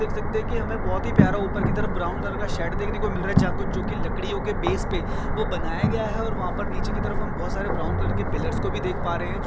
देख सकते है की बहुत ही प्यारा उपर की तरफ ब्राउन कलर का शेड देखने को मिल रहा है जहा कुछ जो की लकडीयो के बेस पे वो बनाया गया है और वहा पर नीचे की तरफ हम बहुत सारे ब्राउन कलर के पिल्लरर्स को भी देख पा रहे है ज --